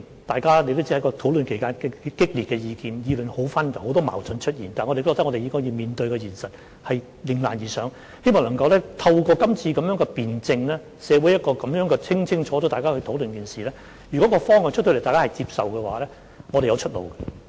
大家也知道，在討論期間提出的意見很激烈，意見紛紜，出現很多矛盾，但我認為我們應面對現實，迎難而上，希望能夠透過今次的辯證，在社會上清楚地討論這一件事，如果在公布方向後，大家也接受，我們便會有出路。